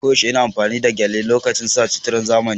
A koyaushe ina amfani da gele lokacin sa suturar zamani.